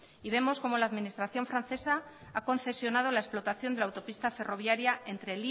y vemos como la administración francesa ha concesionado la explotación de la autopista ferroviaria entre